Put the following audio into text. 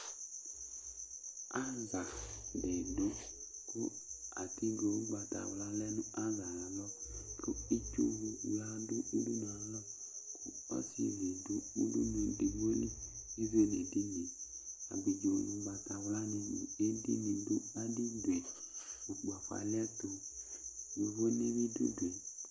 Aza dɩ dʋ kʋ akedzo ugbatawla lɛ nʋ aza yɛ ayʋ alɔ Kʋ itsu ya nʋ udunu yɛ ayʋ alɔ Kʋ ɔsɩ dɩ dʋ udunu edigbo li Ezele edini yɛ Abidzo nʋ ugbatawla, nʋ edi nɩ dʋ adidu yɛ Ukpafo yɛ aliɛtʋ Yovone bi dʋ udu yɛ